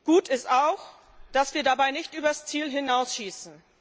Gut ist auch, dass wir dabei nicht über das Ziel hinausschießen.